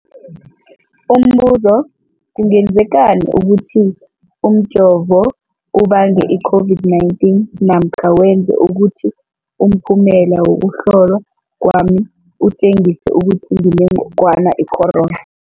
Umbuzo, kungenzekana ukuthi umjovo ubange i-COVID-19 namkha wenze ukuthi umphumela wokuhlolwa kwami utjengise ukuthi nginengogwana i-corona?